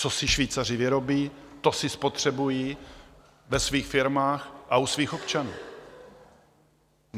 Co si Švýcaři vyrobí, to si spotřebují ve svých firmách a u svých občanů.